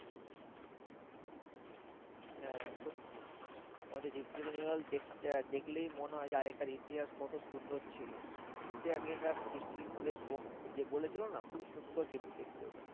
হ্যাঁ সত্যি আমাদের ভিক্টোরিয়া মেমোরিয়াল দেখতে, দেখলেই মনে হয় যে আগেকার ইতিহাস কত সুন্দর ছিল। সত্যি আগেকার historic places যে বলেছিলো না খুবই সুন্দর কিন্তু দেখতে ওটা